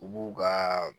U b'u ka